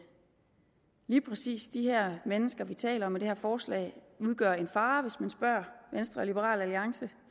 lige præcis de her mennesker vi taler om i det her forslag udgør en fare hvis man spørger venstre og liberal alliance